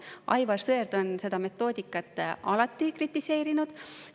Aivar Sõerd on seda metoodikat alati kritiseerinud.